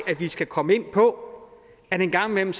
at vi skal komme ind på at det en gang imellem